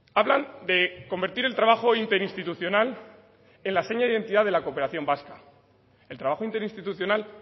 hablan de convertir el trabajo interinstitucional en la seña de identidad de la cooperación vasca el trabajo interinstitucional